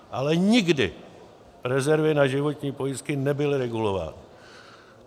Ale nikdy rezervy na životní pojistky nebyly regulovány.